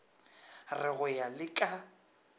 re go ya le ka